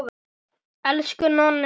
Elsku Nonni afi!